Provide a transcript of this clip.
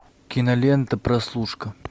кинолента прослушка